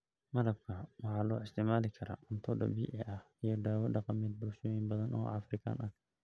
Malabka waxaa loo isticmaali karaa cunto dabiici ah iyo dawo dhaqameed bulshooyin badan oo Afrikaan ah.